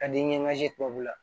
Ka di ɲɛma se tubabu la